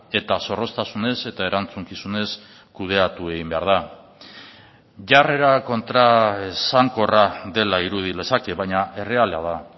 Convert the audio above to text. eta zorroztasunez eta erantzukizunez kudeatu egin behar da jarrera kontraesankorra dela irudi lezake baina erreala da